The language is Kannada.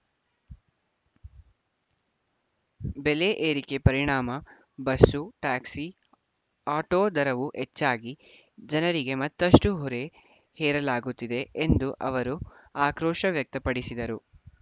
ಬೆಲೆ ಏರಿಕೆ ಪರಿಣಾಮ ಬಸ್ಸು ಟ್ಯಾಕ್ಸಿ ಆಟೋ ದರವೂ ಹೆಚ್ಚಾಗಿ ಜನರಿಗೆ ಮತ್ತಷ್ಟುಹೊರೆ ಹೇರಲಾಗುತ್ತಿದೆ ಎಂದು ಅವರು ಆಕ್ರೋಶ ವ್ಯಕ್ತಪಡಿಸಿದರು